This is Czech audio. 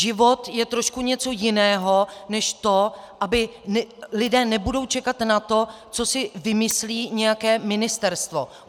Život je trošku něco jiného, než to, aby - lidé nebudou čekat na to, co si vymyslí nějaké ministerstvo.